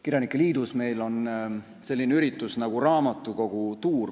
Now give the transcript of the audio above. Kirjanike liidus meil on selline üritus nagu raamatukogutuur.